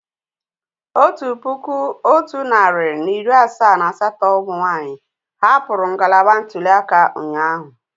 Otu puku otu narị na iri asaa na asatọ umunwaanyi hapụrụ ngalaba ntuli aka ụnyahụ